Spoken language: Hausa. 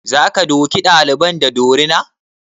Za ka duke ɗalibin da dorina?